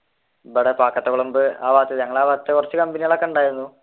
ഇവിടെ അവിടത്തെ കുറച്ചു കമ്പനികൾ ഒക്കെയുണ്ടായിരുന്നു.